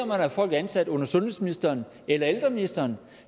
man har folk ansat under sundhedsministeren eller ældreministeren